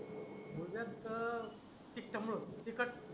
मुळव्याध त अं तिखटामुळं तिखट